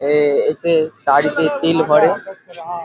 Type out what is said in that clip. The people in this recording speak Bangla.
এ এতে গাড়িতে তেল ভরে ।